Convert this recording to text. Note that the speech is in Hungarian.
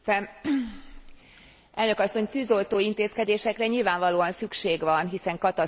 Elnök asszony! Tűzoltó intézkedésekre nyilvánvalóan szükség van, hiszen katasztrofális a helyzet.